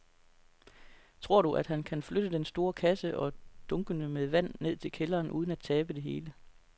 Tror du, at han kan flytte den store kasse og dunkene med vand ned i kælderen uden at tabe det hele?